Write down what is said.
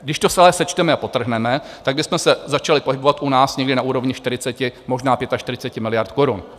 Když to celé sečteme a podtrhneme, tak bychom se začali pohybovat u nás někde na úrovni 40, možná 45 miliard korun.